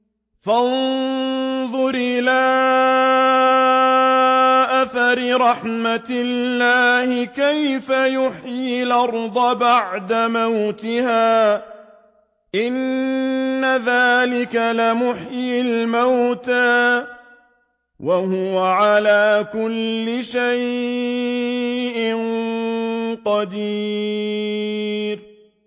فَانظُرْ إِلَىٰ آثَارِ رَحْمَتِ اللَّهِ كَيْفَ يُحْيِي الْأَرْضَ بَعْدَ مَوْتِهَا ۚ إِنَّ ذَٰلِكَ لَمُحْيِي الْمَوْتَىٰ ۖ وَهُوَ عَلَىٰ كُلِّ شَيْءٍ قَدِيرٌ